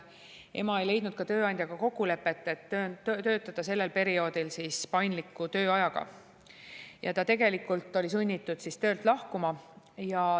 See ema ei leidnud ka tööandjaga kokkulepet, et töötada sellel perioodil paindliku tööajaga, ja ta oli sunnitud töölt lahkuma.